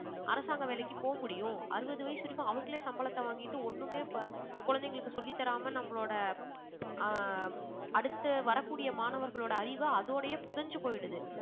அரசாங்க வேலைக்கு போகமுடியும். அறுபது வயசு வரைக்கும் அவங்களே சம்பளத்த வாங்கிட்டு ஒண்ணுமே ப~ குழந்தைகளுக்கு சொல்லித்தராம நம்மளோட ஆஹ் அடுத்து வரக்கூடிய மாணவர்களோட அறிவை அதோடயே புதைஞ்சு போயிடுது